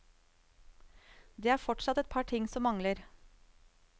Det er fortsatt et par ting som mangler.